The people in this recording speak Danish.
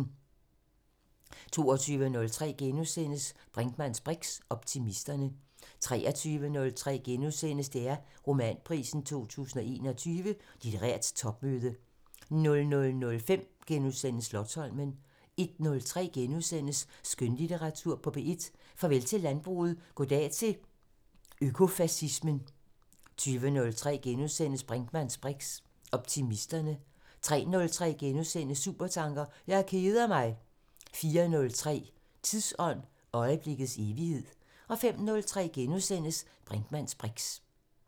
22:03: Brinkmanns briks: Optimisterne * 23:03: DR Romanprisen 2021 – Litterært topmøde * 00:05: Slotsholmen * 01:03: Skønlitteratur på P1: Farvel til landbruget – goddag til økofacismen * 02:03: Brinkmanns briks: Optimisterne * 03:03: Supertanker: Jeg keder mig! * 04:03: Tidsånd – øjeblikkets evighed 05:03: Brinkmanns briks *